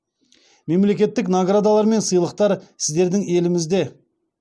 мемлекеттік наградалар мен сыйлықтар сіздердің елімізде